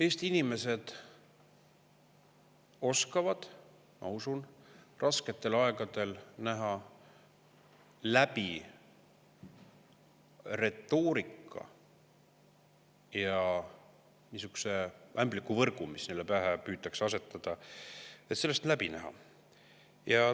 Eesti inimesed oskavad, ma usun, rasketel aegadel näha läbi sellest retoorikast ja sihukesest ämblikuvõrgust, mida püütakse neile pähe asetada.